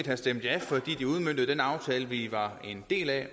have stemt ja fordi lovforslaget udmøntede den aftale vi var en del af